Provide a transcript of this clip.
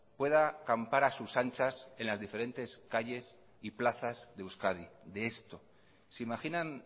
pueda campar a sus anchas en las diferentes calles y plazas de euskadi de esto se imaginan